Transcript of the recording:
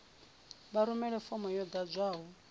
vha rumele fomo yo ḓadzwaho